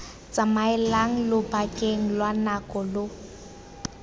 tsamaelang lobakeng lwa nako lo